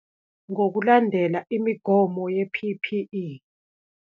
Ngokulandela imogomo ye-P_P_E.